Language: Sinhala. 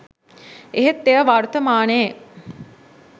එහෙත් එය වර්තමානයේ